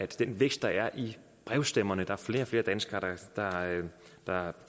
den vækst der er i brevstemmerne der er flere og flere danskere der